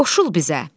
Qoşul bizə.